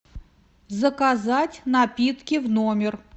заказать напитки в номер